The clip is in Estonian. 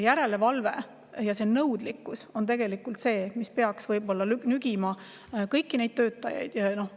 Järelevalve ja nõudlikkus on tegelikult see, millega peaks kõiki neid töötajaid nügima.